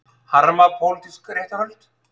Harma pólitísk réttarhöld